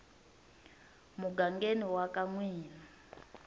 mugangeni wa ka n wina